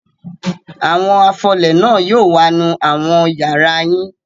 Àwọn afọlẹ̀ náà yóò wá nù àwọn ìyàrá yín.